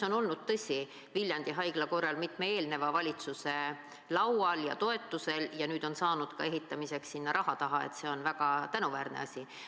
Viljandi haigla teema on, tõsi, olnud mitme eelneva valitsuse laual ja toetuse saanud ja nüüd on saadud ka ehitamiseks sinna raha taha, see on väga tänuväärne asi.